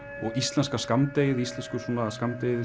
og íslenska skammdegið íslenska skammdegið